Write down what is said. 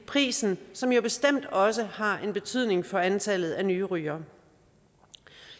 prisen som jo bestemt også har en betydning for antallet af nye rygere